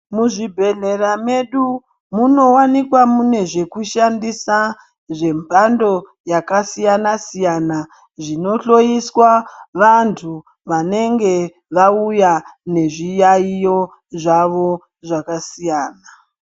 Muzvibhedhlera medu muno wanikwa mune zvekushandisa zvemhando yakasiyana siyana zvinohloiswa vantu Vanenge vauya nezviyaiyo zvawo zvakasiyana.